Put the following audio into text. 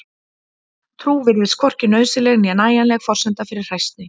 trú virðist hvorki nauðsynleg né nægjanleg forsenda fyrir hræsni